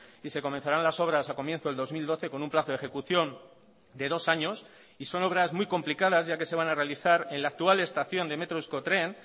y se comenzarán las obras a comienzo del dos mil doce con un plazo de ejecución de dos años y son obras muy complicadas ya que se van a realizar en la actual estación de metro euskotren